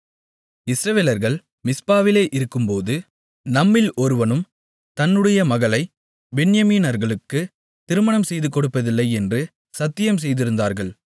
இஸ்ரவேலர்கள் மிஸ்பாவிலே இருக்கும்போது நம்மில் ஒருவனும் தன்னுடைய மகளைப் பென்யமீனர்களுக்கு திருமணம் செய்துகொடுப்பதில்லை என்று சத்தியம் செய்திருந்தார்கள்